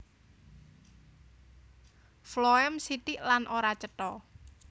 Floèm sithik lan ora cetha